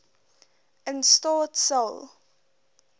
in staat sal